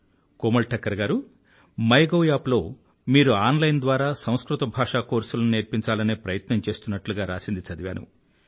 కోమల్ ఠక్కర్ గారూ my gov app లో మీరు ఆన్ లైన్ ద్వారా సంస్కృత భాషా కోర్సులను నేర్పించాలనే ప్రయత్నం చేస్తున్నట్లు రాసినది చదివాను